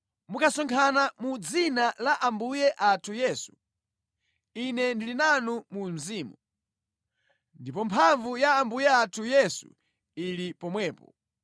Mukasonkhana mu dzina la Ambuye athu Yesu, ine ndili nanu mu mzimu, ndipo mphamvu ya Ambuye athu Yesu ili pomwepo,